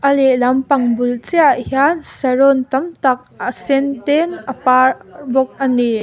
a lehlam pang bul chiahah hian saron tamtak a sen ten te a par bawk a ni.